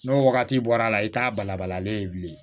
N'o wagati bɔra a la i t'a balabalalen ye bilen